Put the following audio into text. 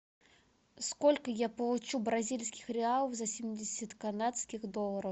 сколько я получу бразильских реалов за семьдесят канадских долларов